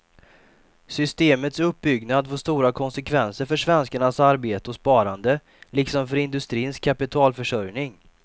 Systemets uppbyggnad får stora konsekvenser för svenskarnas arbete och sparande, liksom för industrins kapitalförsörjning.